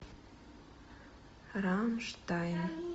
рамштайн